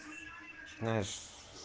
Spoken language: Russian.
знаешь с